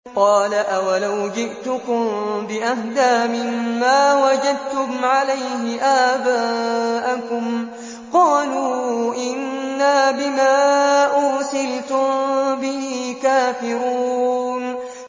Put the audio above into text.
۞ قَالَ أَوَلَوْ جِئْتُكُم بِأَهْدَىٰ مِمَّا وَجَدتُّمْ عَلَيْهِ آبَاءَكُمْ ۖ قَالُوا إِنَّا بِمَا أُرْسِلْتُم بِهِ كَافِرُونَ